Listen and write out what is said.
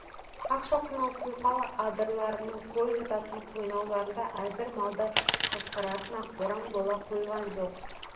ақшоқының құйқалы адырларының қой жататын қойнауларында әзір малды ықтыратын ақ боран бола қойған жоқ